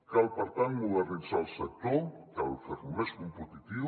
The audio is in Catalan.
cal per tant modernitzar el sector cal fer lo més competitiu